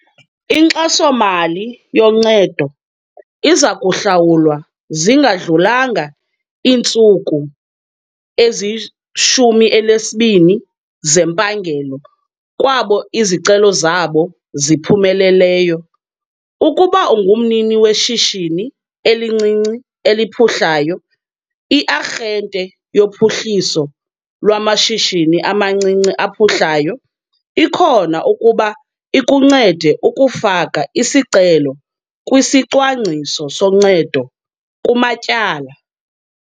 Inkxaso-mali yoncedo iza kuhlawulwa zingadlulanga iintsuku ezi-12 zempangelo kwabo izicelo zabo ziphumeleleyo. Ukuba ungumnini weshishini elincinci eliphuhlayo, i-Arhente yoPhuhliso lwaMashishini amaNcinci aPhuhlayo ikhona ukuba ikuncede ukufaka isicelo kwisicwangciso soncedo kumatyala.